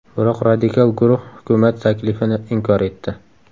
Biroq radikal guruh hukumat taklifini inkor etdi.